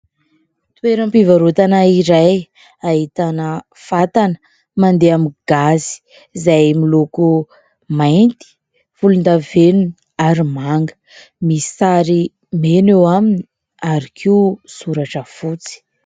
Toeram-pivarotana iray, ahitana fatana mandeha amin'ny gazy izay miloko mainty, volondavenona ary manga misy sary mena eo aminy ary koa soratra fotsy.